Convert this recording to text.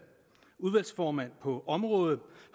udvalgsformand på området